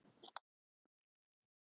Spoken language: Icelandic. Breyting á upplýsingamálum borgarinnar